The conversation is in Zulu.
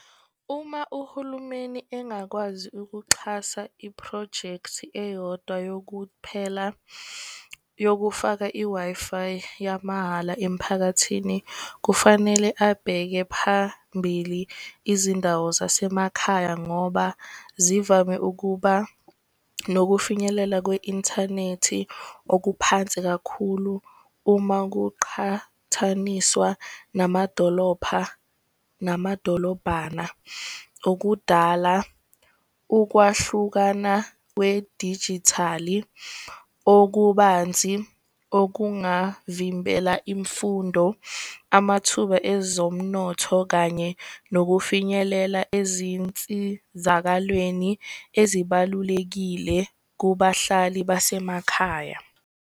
Uma uhulumeni engakwazi ukuxhasa iphrojekthi eyodwa yokuphela yokufaka i-Wi-Fi yamahhala emiphakathini. Kufanele abheke phambili izindawo zasemakhaya, ngoba zivame ukuba nokufinyelela kwi-inthanethi okuphansi kakhulu uma kuqhathaniswa namadolopha namadolobhana. Okudala ukwahlukana kwedijithali, okubanzi okungavimbela imfundo, amathuba ezomnotho, kanye nokufinyelela ezinsizakalweni ezibalulekile kubahlali basemakhaya.